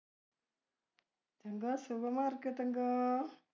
എന്താ, സുഖമായിരുക്ക് തങ്കം.